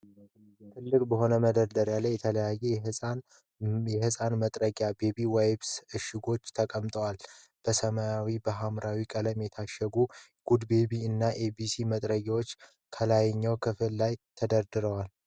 ጥልቅ በሆነ መደርደሪያ ላይ የተለያዩ የህፃናት መጥረጊያ (baby wipes) እሽጎች ተቀምጠዋል። በሰማያዊና በሀምራዊ ቀለም የታሸጉት የ'Goodbaby' እና 'ABC' መጥረጊያዎች ከላይኛው ክፍል ላይ ተደራርበዋል።